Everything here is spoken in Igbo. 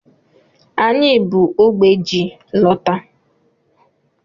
Anyị bu ógbè ji lọta.